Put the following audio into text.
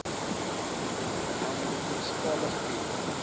ma munisipale gebied